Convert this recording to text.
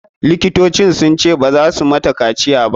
Likitocin sun ce baza su mata kaciya ba.